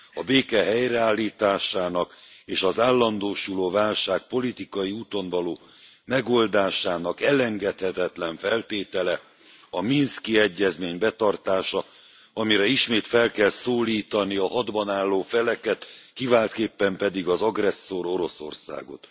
A béke helyreállításának és az állandósuló válság politikai úton való megoldásának elengedhetetlen feltétele a minszki egyezmény betartása, amire ismét fel kell szólítani a hadban álló feleket, kiváltképpen pedig az agresszor Oroszországot.